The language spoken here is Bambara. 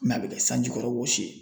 N'a be kɛ sanjikɔrɔ wɔsi ye